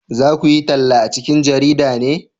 za ku yi talla a cikin jarida ne?